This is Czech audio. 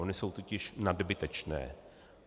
Ony jsou totiž nadbytečné.